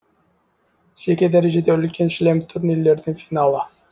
жеке дәрежеде үлкен шлем турнирлердің финалы